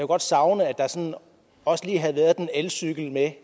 godt savne at der også lige havde været en elcykel med